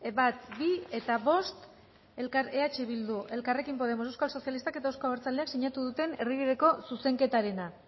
bat bi eta bost eh bildu elkarrekin podemos euskal sozializtak eta euzko abertzaleak sinatu duten erdibideko zuzenketarena